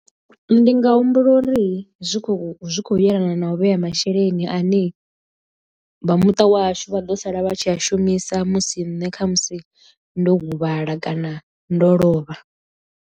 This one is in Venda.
Ndi nga humbula uri zwi khou zwi khou yelana na u vhea masheleni a ne vha muṱa wahashu vha ḓo sala vha tshi a shumisa musi nṋe kha musi ndo huvhala kana ndo lovha.